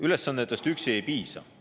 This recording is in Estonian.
Ülesannetest üksi ei piisa.